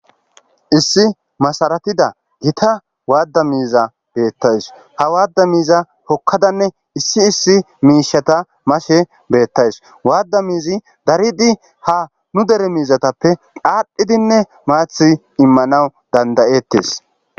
''Issi masaratida gita waada miiziya beetaws.ha waada miiziya hokadanne issi issi miishata mashe beetawus.waada miizi daridi ha nu dere miizatappe aadhidinne maathi immanaw danda'eetes.''